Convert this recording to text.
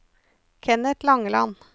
Kenneth Langeland